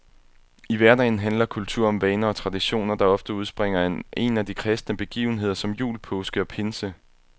I hverdagen handler kultur om vaner og traditioner, der ofte udspringer af en af de kristne begivenheder som jul, påske og pinse.